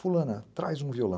Fulana, traz um violão.